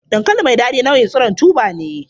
Dankali mai dadi nau'in tsiron tuba ne.